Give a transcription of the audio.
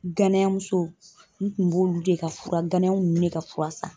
Ganayamuso n kun b'olu de ka fura ganaya nunnu de ka fura san.